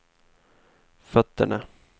fötterna